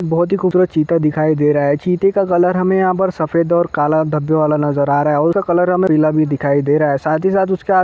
बहुत ही खूबसूरत चीता दिखाई दे रहा है चीते का कलर हमें यहां पर सफ़ेद और काला धब्बे वाला नजर आ रहा है और उसका कलर हमें पीला भी दिखाई दे रहा है साथ ही साथ उसका--